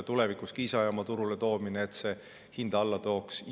Tulevikus tuuakse Kiisa jaam turule, et see hinda alla tooks.